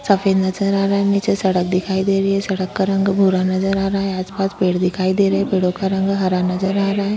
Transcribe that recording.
सफ़ेद नज़र आ रहा है नीचे सड़क दिखाई दे रही है सड़क का रंग भूरा नज़र आ रहा है आस-पास पेड़ दिखाई दे रहा है पेड़ो का रंग हरा नज़र आ रहा है।